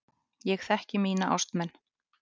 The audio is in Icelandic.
Ég þekki mína ástmenn.